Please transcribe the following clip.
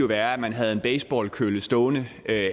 være at man havde en baseballkølle stående